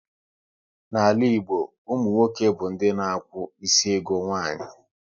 N'ala Igbo, ụmụ nwoke bụ ndị na akwụ isi ego nwanyị